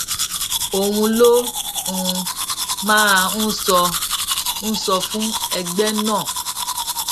òun ló um máa ń sọ ń sọ fún ẹgbẹ náà